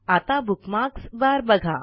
आता bookmarks bar बघा